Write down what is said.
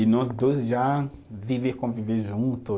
E nós dois já viver e conviver junto